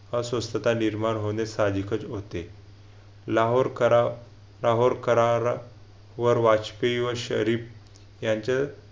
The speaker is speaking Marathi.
अस्वस्थता निर्माण होणे सहाजिकच होते. लाहोर करार लाहोर करारा वर वाजपेयी व शरीफ यांचे